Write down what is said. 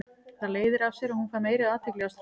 Það leiðir af sér að hún fær meiri athygli hjá strákum.